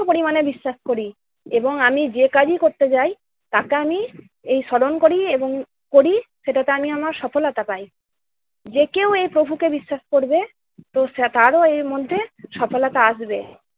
প্রচন্ড পরিমাণে বিশ্বাস করি এবং আমি যে কাজই করতে যাই তাকে আমি এই স্মরণ করি এবং করি সেটাতে আমি আমার সফলতা পাই। যে কেউ এই প্রভুকে বিশ্বাস করবে তো সে~ তারও মধ্যে সফলতা আসবে।